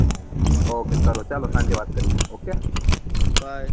ok કરો ચાલો સાંજે વાત કરીએ ok